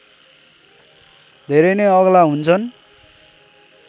धेरै नै अग्ला हुन्छन्